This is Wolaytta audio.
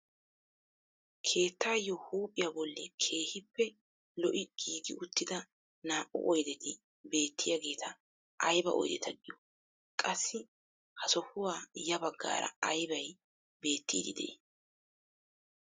Keettaayoo huuphphiyaa bolli Keehippe lo"i giigi uttida naa"u oydeti beettiyaageta ayba oydeta giyoo? Qassi ha sohuwaa ya baggaara aybay beettiidi de'ii?